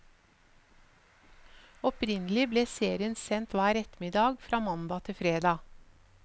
Opprinnelig ble serien sendt hver ettermiddag fra mandag til fredag.